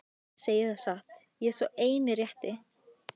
Ég segi það satt, ég er sá eini rétti.